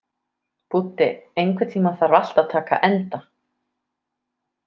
Búddi, einhvern tímann þarf allt að taka enda.